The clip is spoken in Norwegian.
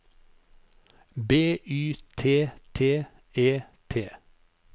B Y T T E T